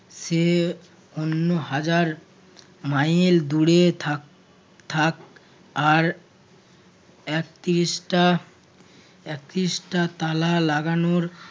সে অন্য হাজার মাইলের দূরে থাক~ থাক আর একত্রিশটা~একত্রিশটা তালা লাগানোর